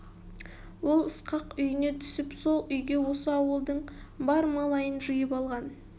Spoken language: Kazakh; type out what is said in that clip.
ол ысқақ үйіне түсіп сол үйге осы ауылдың бар малайын жиып алған